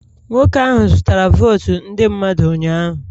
Nwoke ahụ zụtara votu ndị mmadụ ụnyahụ